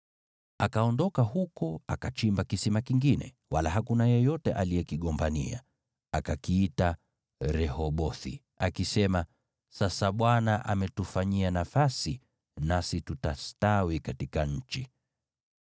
Akaondoka huko, akachimba kisima kingine, wala hakuna yeyote aliyekigombania. Akakiita Rehobothi, akisema, “Sasa Bwana ametufanyia nafasi, nasi tutastawi katika nchi.”